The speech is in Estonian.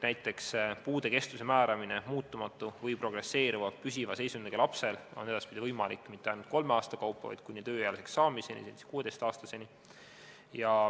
Näiteks on puude kestuse määramine muutumatu või progresseeruva püsiva seisundiga lapsel edaspidi võimalik mitte ainult kolme aasta kaupa, vaid kuni tööealiseks ehk 16-aastaseks saamiseni.